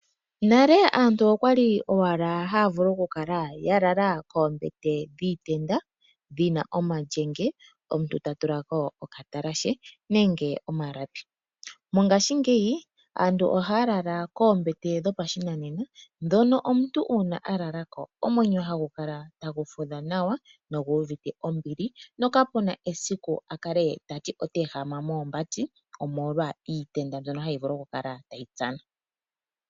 Nale aantu okwali owala haya vulu oku kala yalala koombete dhiitenda dhina omalyenge, omuntu ta tulako okatalashe nenge omalapi. Mongashingey aantu ohaya lala koombete dhopashinanena ndhono omuntu uuna alalako omwenyo hagu kala tagu fudha nawa nogu uvite ombili, no kapuna esiku akale tati ota ehama moombati omolwa iitenda mbyono hayi vulu okukala tayi tsana.